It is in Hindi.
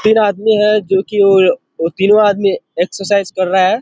तीन आदमी है जो कि वो तीनो आदमी एक्सरसाइज कर रहा है।